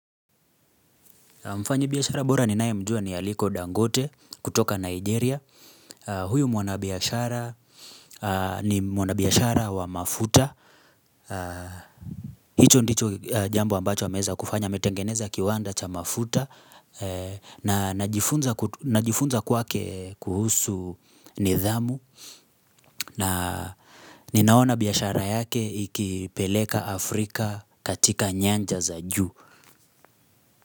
Mfanyibiashara bora ninaye mjua ni Aliko Dangote kutoka Nigeria. Huyu mwanabiashara, ni mwanabiashara wa mafuta. Hicho ndicho jambo ambacho ameweza kufanya. Ametengeneza kiwanda cha mafuta. Na najifunza kwake kuhusu nidhamu. Na ninaona biashara yake ikipeleka Afrika katika nyanja za juu.